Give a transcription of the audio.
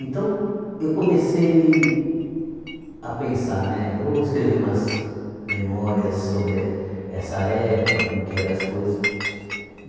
Então, eu comecei a pensar, né vou escrever umas memórias sobre essa época, como que eram as coisas.